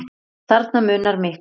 Þarna munar miklu.